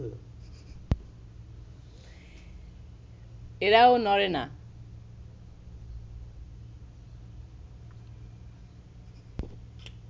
এরাও নড়ে না